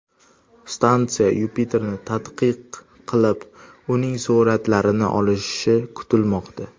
Stansiya Yupiterni tadqiq qilib, uning suratlarini olishi kutilmoqda.